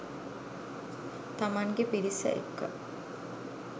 තමන්ගේ පිරිස එක්ක